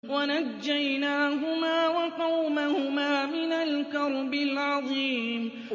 وَنَجَّيْنَاهُمَا وَقَوْمَهُمَا مِنَ الْكَرْبِ الْعَظِيمِ